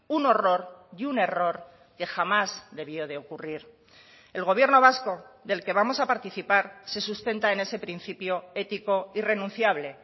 un horror y un error que jamás debió de ocurrir el gobierno vasco del que vamos a participar se sustenta en ese principio ético irrenunciable